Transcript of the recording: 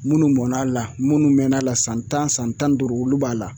Munnu mɔnna la munnu mɛn'a la san tan san tan ni duuru olu b'a la